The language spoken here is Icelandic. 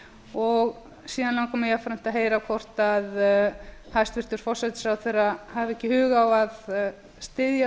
júní síðan langar mig jafnframt að heyra hvort hæstvirtur forsætisráðherra hafi ekki hug á að styðja